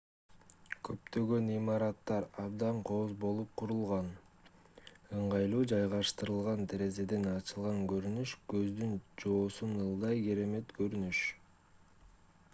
көптөгөн имараттар абдан кооз болуп курулган ыңгайлуу жайгаштырылган терезеден ачылган көрүнүш көздүн жоосун алгыдай керемет көрүнүш